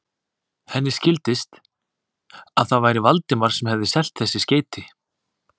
Henni skildist, að það væri Valdimar sem hefði selt þessi skeyti.